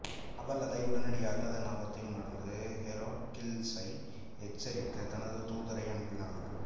அவள் அதை உடனடியாக அதன் ஆபத்தை உணர்ந்து ஹெராக்கிள்சை எச்சரிக்க தனது தூதரை அனுப்பினாள்